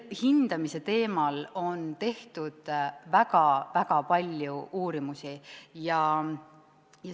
Hindamise teemal on tehtud väga palju uurimusi.